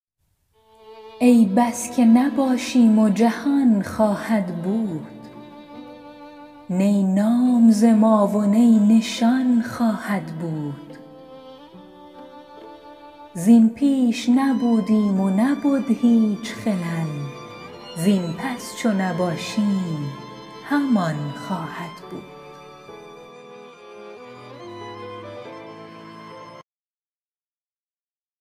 ای بس که نباشیم و جهان خواهد بود نی نام ز ما و نی نشان خواهد بود زین پیش نبودیم و نبد هیچ خلل زین پس چو نباشیم همان خواهد بود